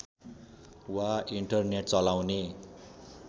वा इन्टरनेट चलाउने